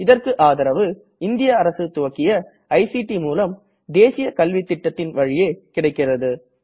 இதற்கு ஆதரவு இந்திய அரசு துவக்கிய ஐசிடி மூலம் தேசிய கல்வித்திட்டத்தின் வழியே கிடைக்கிறது